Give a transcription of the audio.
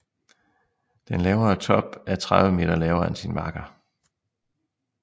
Den lavere top er 30 meter lavere end sin makker